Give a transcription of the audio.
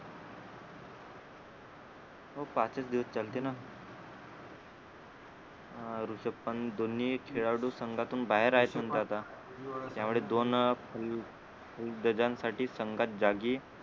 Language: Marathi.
हो पाच च दिवस चालत ना अं ऋषभ पण दोन्ही खेळाडू संघातून बाहेर आहे सध्या आता त्यावेळेस दोन अं जणांसाठी संघात जागी